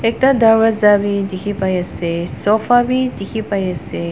ekta darvaza bi dikhipaiase sofa bi dikhipaiase.